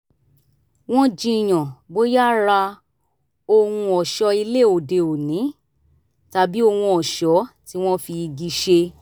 wọ́n jiyàn bóyá ra ohun ọ̀ṣọ́ ilé òde òní tàbí ohun ọ̀ṣọ́ tí wọ́n fi igi ṣe